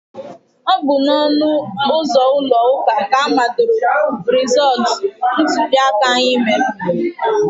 Ọ bụ n'ọnụ ụzọ ụlọ ụka ka amadoro rezọtụ ntuliaka anyị mere.